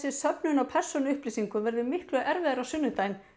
söfnun á persónuupplýsingum verður miklu erfiðari á sunnudaginn